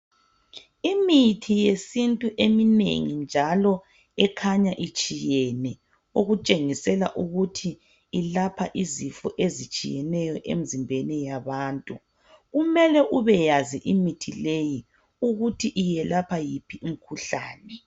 Imithi yesintu eminengi njalo ekhanya itshiyene .Okutshengisela ukuthi ilapha izifo ezitshiyeneyo emzimbeni yabantu. Kumele ubeyazi imithi leyi ukuthi iyelapha yiphi imkhuhlane .